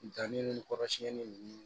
Danni ni kɔrɔsiɲɛni ninnu